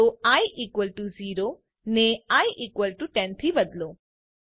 તો I equal to 0 ને I equal to 10 થી બદલો